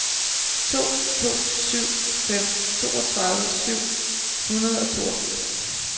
to to syv fem toogtredive syv hundrede og toogfirs